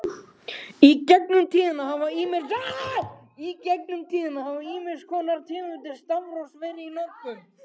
Í gegnum tíðina hafa ýmiss konar tegundir stafrófs verið í notkun.